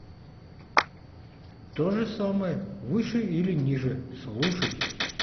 то же самое выше или ниже слушать